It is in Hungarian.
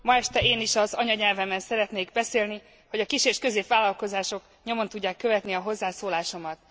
Ma este én is az anyanyelvemen szeretnék beszélni, hogy a kis és középvállalkozások nyomon tudják követni a hozzászólásomat.